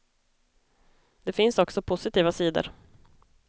Det finns också positiva sidor.